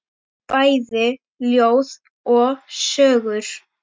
Bæði ljóð og sögur.